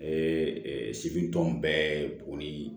segi tɔn bɛɛ bo nin